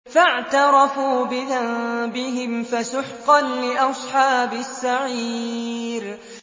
فَاعْتَرَفُوا بِذَنبِهِمْ فَسُحْقًا لِّأَصْحَابِ السَّعِيرِ